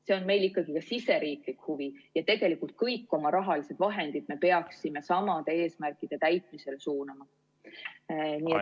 See on meil ikkagi ka siseriiklik huvi, ja tegelikult kõik oma rahalised vahendid me peaksime samade eesmärkide täitmisele suunama.